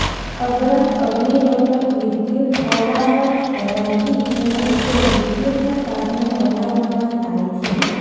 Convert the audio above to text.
અબરખ અગ્નિરોધક વિદ્યુત અવારક હોવાથી તેનો ઉપયોગ વિદ્યુતના સાધનો બનાવવામાં થાય છે